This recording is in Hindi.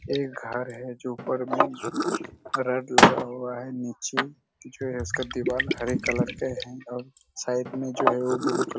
एक घर हैं जो ऊपर में रॉड लगा हुआ हैं नीचे जो हैं इसका दिवाल हरे कलर के हैं और साइड में जो हैं ब्लू कलर --